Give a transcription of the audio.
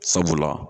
Sabula